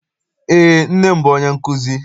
Eé, nne m bụ onye nkụzi.